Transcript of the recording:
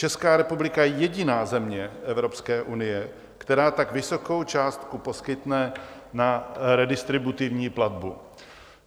Česká republika je jediná země Evropské unie, která tak vysokou částku poskytne na redistributivní platbu.